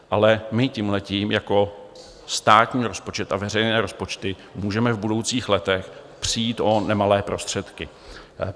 Ale my tímhle jako státní rozpočet a veřejné rozpočty můžeme v budoucích letech přijít o nemalé prostředky.